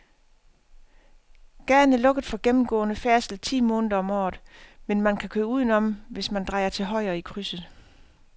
Gaden er lukket for gennemgående færdsel ti måneder om året, men man kan køre udenom, hvis man drejer til højre i krydset.